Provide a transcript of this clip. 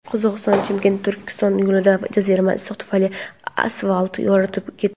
Qozog‘istonning Chimkent–Turkiston yo‘lida jazirama issiq tufayli asfalt yorilib ketdi.